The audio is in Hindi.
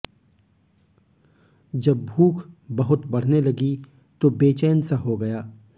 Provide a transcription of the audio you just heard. जब भूख बहुत बढने लगी तो बेचैन सा हो गया